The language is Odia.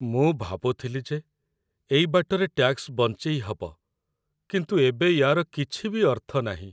ମୁଁ ଭାବୁଥିଲି ଯେ ଏଇ ବାଟରେ ଟ୍ୟାକ୍ସ ବଞ୍ଚେଇ ହବ, କିନ୍ତୁ ଏବେ ୟା'ର କିଛି ବି ଅର୍ଥ ନାହିଁ ।